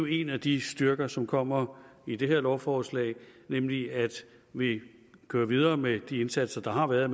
en af de styrker som kommer med det her lovforslag er nemlig at vi kører videre med de indsatser der har været